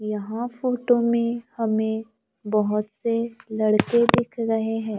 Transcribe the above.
यहां फोटो में हमें बहुत से लड़के दिख रहे हैं।